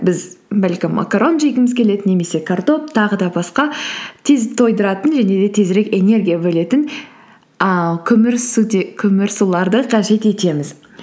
біз бәлкім макарон жегіміз келеді немесе картоп тағы да басқа тез тойдыратын және де тезірек энергия бөлетін ііі көмірсуларды қажет етеміз